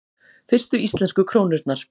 Fyrstu íslensku krónurnar: